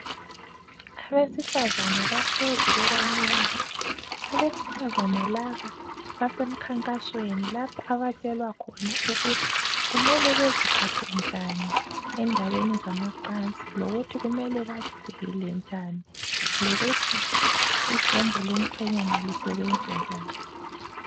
Abesifazana bahlezi bebanengi. Abesifazana laba basemkhankasweni. Lapho abatshelwa khona ukuthi kumele beziphathe njani endabeni zamacansi. Lokuthi kumele bazivikele njani. Lokuthi ijombo lomkhwenyana, lisebenza njani.